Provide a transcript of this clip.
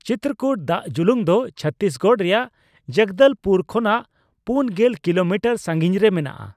ᱪᱤᱛᱛᱨᱚᱠᱩᱴ ᱫᱟᱜᱽ ᱫᱩᱞᱩᱱ ᱫᱚ ᱪᱷᱚᱛᱛᱨᱤᱥᱜᱚᱲ ᱨᱮᱭᱟᱜ ᱡᱚᱜᱚᱫᱚᱞᱯᱩᱨ ᱠᱷᱚᱱᱟᱜ ᱯᱩᱱ ᱜᱮᱞ ᱠᱤᱞᱳᱢᱤᱴᱟᱨ ᱥᱟᱹᱜᱤᱧ ᱨᱮ ᱢᱮᱱᱟᱜᱼᱟ ᱾